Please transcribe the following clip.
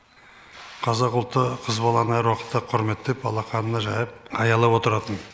қазақ ұлты қыз баланы әр уақытта құрметтеп алақанына жайып аялап отыратын